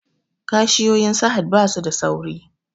Cashiyoyin sahad basu da sauri